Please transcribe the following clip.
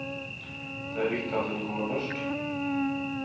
Det er viktig at hun kommer først.